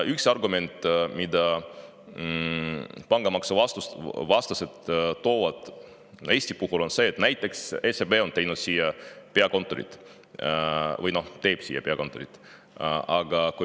Üks argument, mida pangamaksu vastased Eestis toovad, on see, et näiteks SEB on toonud peakontori siia või toob siia.